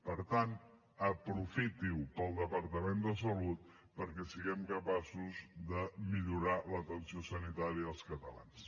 per tant aprofiti ho per al departament de salut perquè siguem capaços de millorar l’atenció sanitària dels catalans